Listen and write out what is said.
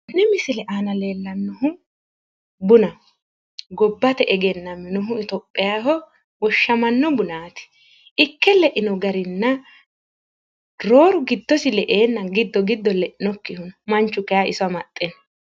tenne misile aana leellannohu bunaho. Gobbate egennaminohu ithiophiaho woshshamanno bunaati. Ikke leino garinna rooru giddosi le'eenna giddo giddo le'nokkihu no. Manchu kayi iso amaxxe no.